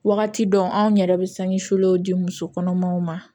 Wagati dɔ anw yɛrɛ bɛ sanji siw di muso kɔnɔmaw ma